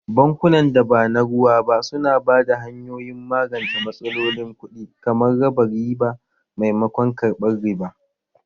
Bankunan da ba na ruwa ba su na ba da hanyoyin magance matsalolin kuɗi, kamar raba riba maimakon karɓar riba.